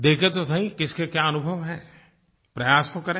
देखें तो सही किस के क्या अनुभव हैं प्रयास तो करें